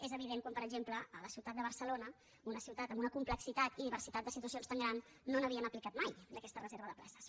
és evident quan per exemple a la ciutat de barcelona una ciutat amb una complexitat i diversitat de situacions tan grans no n’havien aplicat mai d’aquesta reserva de places